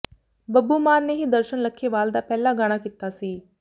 ਬੱਬੂ ਮਾਨ ਨੇ ਹੀ ਦਰਸ਼ਨ ਲੱਖੇਵਾਲ ਦਾ ਪਹਿਲਾ ਗਾਣਾ ਕੀਤਾ ਸੀ